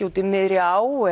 út í miðri á